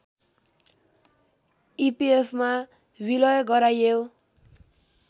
इपिएफमा विलय गराइयो